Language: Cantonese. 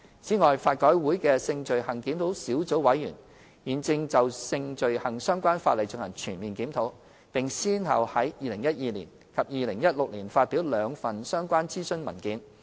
此外，法改會的性罪行檢討小組委員會現正就性罪行相關法例進行全面檢討，並先後於2012年及2016年發表兩份相關諮詢文件。